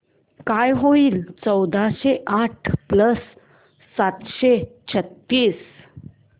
काय होईल चौदाशे आठ प्लस सातशे छ्त्तीस